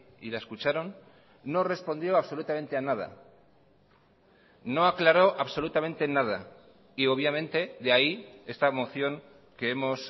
y la escucharon no respondió absolutamente a nada no aclaró absolutamente nada y obviamente de ahí esta moción que hemos